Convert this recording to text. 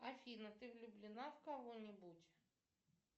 афина ты влюблена в кого нибудь